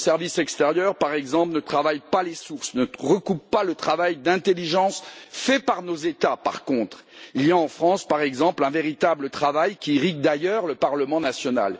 Nos services extérieurs, par exemple, ne travaillent pas les sources, ne recoupent pas le travail de renseignement fait par nos États. Par contre, il y a en France, par exemple, un véritable travail qui irrigue d'ailleurs le parlement national.